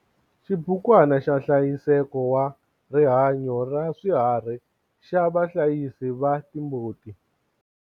XIBUKWANA XA NHLAYISEKO WA RIHANYO RA SWIHARHI XA VAHLAYISI VA TIMBUTI